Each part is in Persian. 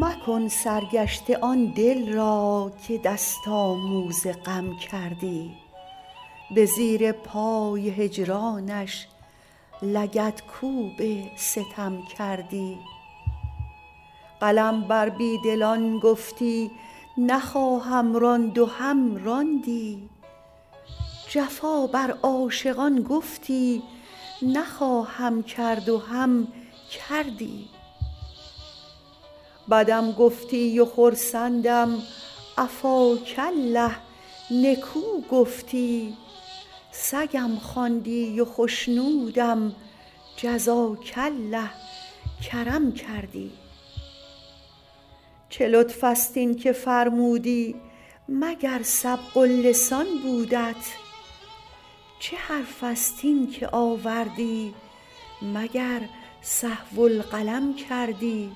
مکن سرگشته آن دل را که دست آموز غم کردی به زیر پای هجرانش لگدکوب ستم کردی قلم بر بی دلان گفتی نخواهم راند و هم راندی جفا بر عاشقان گفتی نخواهم کرد و هم کردی بدم گفتی و خرسندم عفاک الله نکو گفتی سگم خواندی و خشنودم جزاک الله کرم کردی چه لطف است این که فرمودی مگر سبق اللسان بودت چه حرف است این که آوردی مگر سهو القلم کردی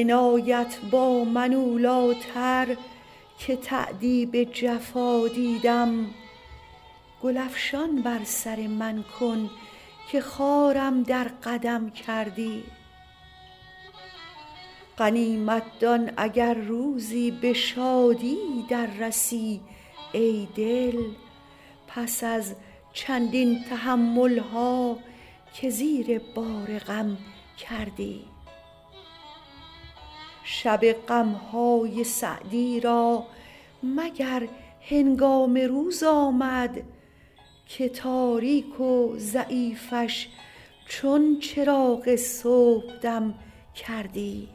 عنایت با من اولی تر که تأدیب جفا دیدم گل افشان بر سر من کن که خارم در قدم کردی غنیمت دان اگر روزی به شادی در رسی ای دل پس از چندین تحمل ها که زیر بار غم کردی شب غم های سعدی را مگر هنگام روز آمد که تاریک و ضعیفش چون چراغ صبحدم کردی